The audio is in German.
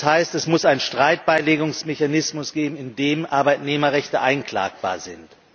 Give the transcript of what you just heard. Das heißt, es muss einen Streitbeilegungsmechanismus geben, in dem Arbeitnehmerrechte einklagbar sind.